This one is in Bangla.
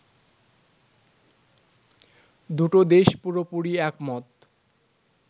দুটো দেশ পুরোপুরি একমত